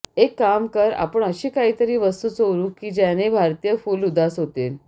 एक काम कर आपण अशी काही तरी वस्तू चोरू की ज्याने भारतीय फुल उदास होतील